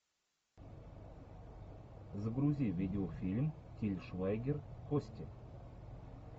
загрузи видеофильм тиль швайгер кости